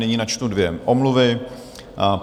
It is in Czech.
Nyní načtu dvě omluvy.